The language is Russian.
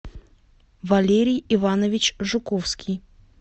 валерий иванович жуковский